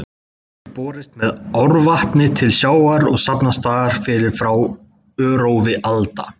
Hún hefur borist með árvatni til sjávar og safnast þar fyrir frá örófi alda.